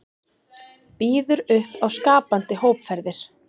Býður upp á skapandi hópferðir